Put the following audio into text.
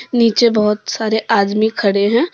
नीचे बहुत सारे आदमी खड़े हैं।